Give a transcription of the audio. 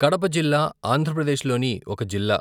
కడప జిల్లా ఆంధ్రప్రదేశ్ లోని ఒక జిల్లా.